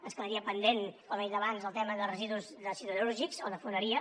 ens quedaria pendent com he dit abans el tema dels residus siderúrgics o de foneria